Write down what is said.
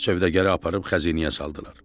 Sövdəgarı aparıb xəzinəyə saldılar.